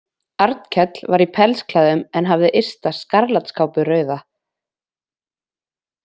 Arnkell var í pellsklæðum en hafði ysta skarlatskápu rauða.